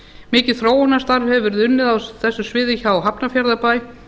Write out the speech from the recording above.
mikið þróunarstarf hefur verið unnið á þessu sviði hjá hafnarfjarðarbæ